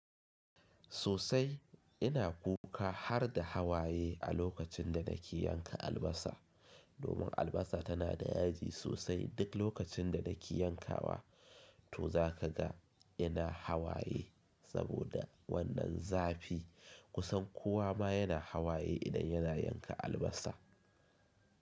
Sosai ina kuka har da hawaye a lokacin da nake yanka albasa. Domin albasa tana da yaji sosai duk lokacin da nake yankawa. To za ka ga ina hawaye saboda wannan zafi. Kusan kowa ma yana hawaye idan yana yanka albasa.